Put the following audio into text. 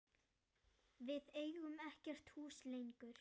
Við eigum ekkert hús lengur.